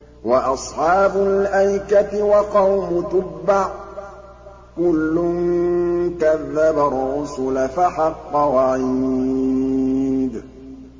وَأَصْحَابُ الْأَيْكَةِ وَقَوْمُ تُبَّعٍ ۚ كُلٌّ كَذَّبَ الرُّسُلَ فَحَقَّ وَعِيدِ